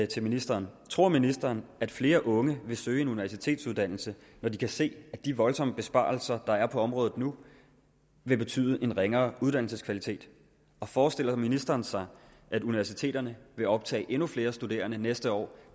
til ministeren tror ministeren at flere unge vil søge en universitetsuddannelse når de kan se at de voldsomme besparelser der er på området nu vil betyde ringere uddannelseskvalitet og forestiller ministeren sig at universiteterne vil optage endnu flere studerende næste år